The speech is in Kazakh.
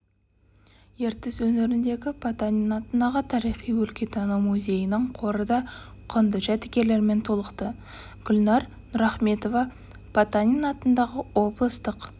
ертіс өңіріндегі потанин атындағы тарихи-өлкетану музейінің қоры да құнды жәдігерлермен толықты гүлнәр нұрахметова потанин атындағы облыстық